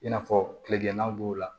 I n'a fɔ tilegɛnna b'o la